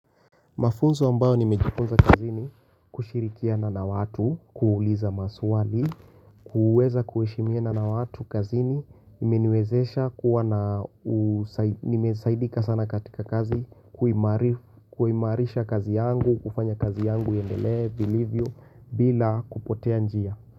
Mafunzo ambayo nimejifunza kazini kushirikia na watu, kuuliza maswali, kuweza kuheshimia na watu kazini, imeniwezesha kuwa na nimesaidika sana katika kazi, kuimarisha kazi yangu, kufanya kazi yangu, iendelee, vilivyo, bila kupotea njia.